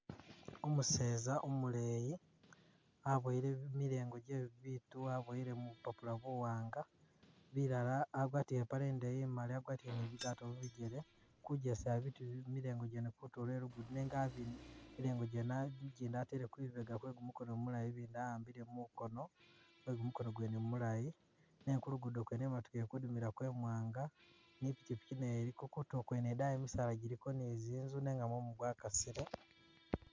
Umuseza umuleyi aboyele mi milengo je bibiitu waboyele mubupapula buwanga ,bilala agwatile ipaale indeeyi agwatile ni bigaato mubijele kujjesa biitu bye jimilengo gyene kutulo kwe lugudo nenga abi milengo gyene aji ijjindi atele kwibega kwe kumukono mulayi ijindi a'ambile mukono kwe gumukono gwene mulaayi nenga kulugudo kwene imotooka ili kudumilaako imwanga ni i'pikyipikyi nayo iliko kutulo kwene idaayi misaala gyiliyo ni zinzu nenga mumu gwakasile